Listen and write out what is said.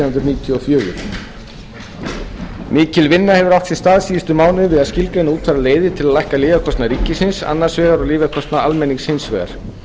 og fjögur mikil vinna hefur átt sér stað síðustu mánuði við að skilgreina og útfæra leiðir til þess að lækka lyfjakostnað ríkisins annars vegar og lyfjakostnað almennings hins vegar